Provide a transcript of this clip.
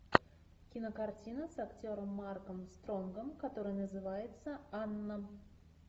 кинокартина с актером марком стронгом которая называется анна